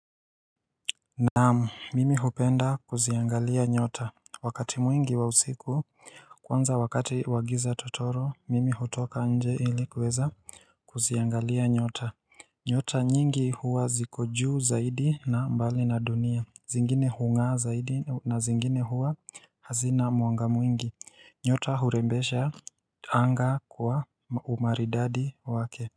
Naam, mimi hupenda kuziangalia nyota, wakati mwingi wa usiku, kwanza wakati wa giza totoro, mimi hutoka nje ili kuweza kuziangalia nyota nyota nyingi huwa ziko juu zaidi na mbali na dunia, zingine hung'aa zaidi na zingine huwa hazina mwanga mwingi, nyota hurembesha anga kwa umaridadi wake.